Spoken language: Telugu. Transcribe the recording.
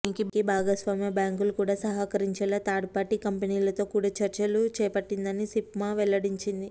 దీనికి భాగస్వామ్య బ్యాంకులు కూడా సహకరించేలా థర్డ్పార్టీ కంపెనీలతో కూడా చర్చలు చేపట్టిందని సిఫ్మా వెల్లడించింది